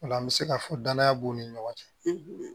Ola an bɛ se ka fɔ danaya b'u ni ɲɔgɔn cɛ